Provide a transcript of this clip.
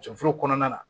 Cɛforo kɔnɔna na